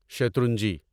شترنجی